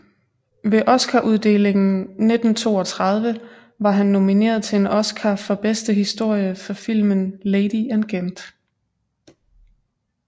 Ved Oscaruddelingen 1932 var han nomineret til en Oscar for bedste historie for filmen Lady and Gent